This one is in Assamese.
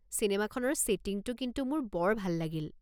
চিনেমাখনৰ ছেটিংটো কিন্তু মোৰ বৰ ভাল লাগিল।